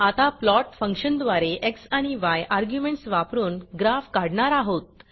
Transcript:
आता प्लॉट फंक्शनद्वारे एक्स आणि य अर्ग्युमेंटस वापरून ग्राफ काढणार आहोत